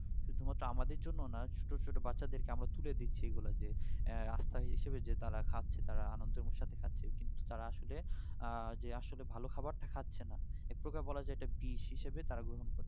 সুধু মাত্র আমাদের জন্য না ছোটো ছোটো বাচ্চা দের কে আমরা তুলে দিচ্ছি এইগুলা যে আহ রাস্তায় হিসেবে যে তারা খাচ্ছে তারা আনন্দের সাথে খাচ্ছে কিন্তু তারা আসলে আহ যে আসলে ভালো খাবার টা খাচ্ছে না একপ্রকার বলা যাই এটা বিষ হিসেবে তারা গ্রহণ করছে